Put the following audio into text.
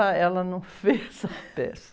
Ah, ela não fez a peça.